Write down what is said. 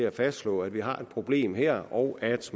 at fastslå at vi har et problem her og at